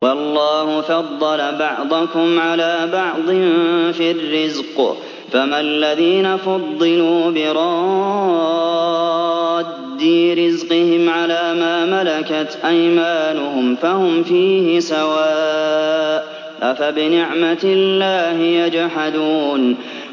وَاللَّهُ فَضَّلَ بَعْضَكُمْ عَلَىٰ بَعْضٍ فِي الرِّزْقِ ۚ فَمَا الَّذِينَ فُضِّلُوا بِرَادِّي رِزْقِهِمْ عَلَىٰ مَا مَلَكَتْ أَيْمَانُهُمْ فَهُمْ فِيهِ سَوَاءٌ ۚ أَفَبِنِعْمَةِ اللَّهِ يَجْحَدُونَ